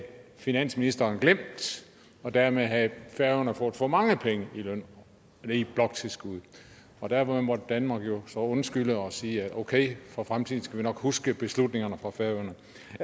finansministeren glemt og dermed havde færøerne fået for mange penge i bloktilskud og derfor måtte danmark jo så undskylde og sige at okay for fremtiden skal vi nok huske beslutningerne fra færøerne